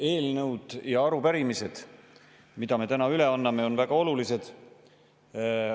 Eelnõud ja arupärimised, mida me täna üle anname, on väga olulised.